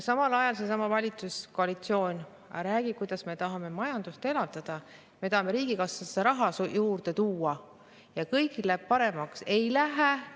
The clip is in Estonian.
Samal ajal seesama valitsuskoalitsioon räägib, kuidas nad tahavad majandust elavdada, riigikassasse raha juurde tuua ja kõigil läheb paremaks.